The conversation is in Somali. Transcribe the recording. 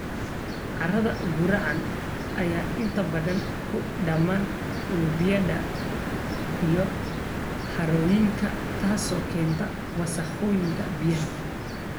Carrada gurracan ayaa inta badan ku dhamma webiyada iyo harooyinka, taasoo keenta wasakhowga biyaha.